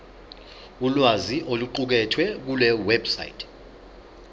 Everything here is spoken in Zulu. ulwazi oluqukethwe kulewebsite